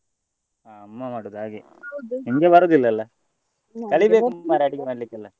ಹಾ ಅಮ್ಮ ಮಾಡುದು ಹಾಗೆ ನಿಮ್ಗೆ ಬರುದಿಲ್ಲ ಅಲ್ಲ .